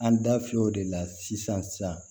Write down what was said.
An da fiyɛ o de la sisan